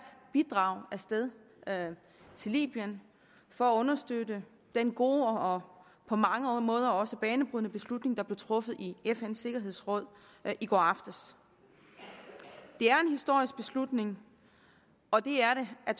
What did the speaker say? bidrag af sted til libyen for at understøtte den gode og på mange måder også banebrydende beslutning der blev truffet i fns sikkerhedsråd i går aftes det er en historisk beslutning og det er det af